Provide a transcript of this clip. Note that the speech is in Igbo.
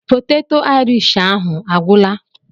Poteto Aịrish ahụ a gwụla?